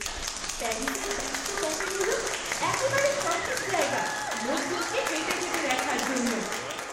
প্যারিসের ব্যস্ত ক্যাফেগুলো একেবারে সঠিক জায়গা লোকজনকে হেঁটে যেতে দেখার জন্য।